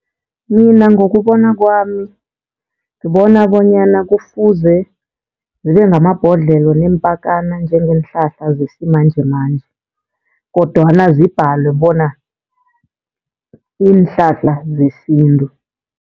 Mina ngokubona kwami, ngibona bonyana kufuze zibe ngamabhodlelo neempakana njengeenhlahla zesimanjemanje. Kodwana zibhalwe bona ziinhlahla zesintu.